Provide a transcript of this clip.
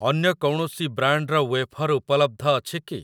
ଅନ୍ୟ କୌଣସି ବ୍ରାଣ୍ଡ୍‌‌‌ର ୱେଫର୍‌ ଉପଲବ୍ଧ ଅଛି କି?